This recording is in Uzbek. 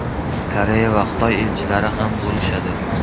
Koreya va Xitoy elchilari ham bo‘lishadi.